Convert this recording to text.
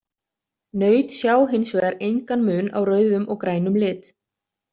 Naut sjá hins vegar engan mun á rauðum og grænum lit.